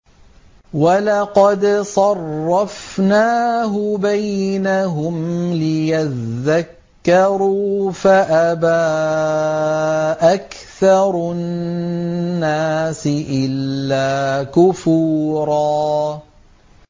وَلَقَدْ صَرَّفْنَاهُ بَيْنَهُمْ لِيَذَّكَّرُوا فَأَبَىٰ أَكْثَرُ النَّاسِ إِلَّا كُفُورًا